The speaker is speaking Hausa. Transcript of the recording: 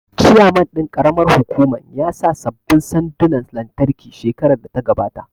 Chairman ɗin ƙaramar hukuman ya sa sabbin sandunan lantarki shekarar da ta gabata